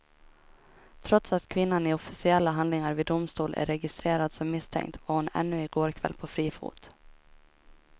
Trots att kvinnan i officiella handlingar vid domstol är registrerad som misstänkt var hon ännu i går kväll på fri fot.